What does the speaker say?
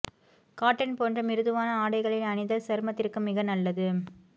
cotton போன்ற மிருதுவான ஆடைகளை அணிதல் சருமத்திற்கு மிக நல்லது